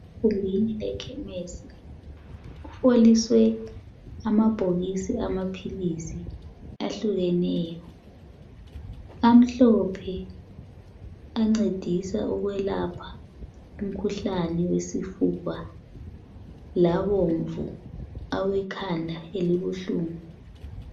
Kuvuliwe ekhemisi kuheliswe amabhokisi amaphilisi ahlukeneyo amhlophe ancedisa ukwelapha umkhuhlane wesifuba labomvu awekhanda elibuhlungu.